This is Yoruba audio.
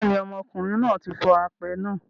Bẹ́ẹ̀ ni, ọmọkùnrin náà tí fọ apẹ náà.